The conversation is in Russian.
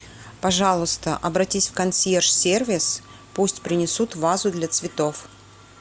пожалуйста обратись в консьерж сервис пусть принесут вазу для цветов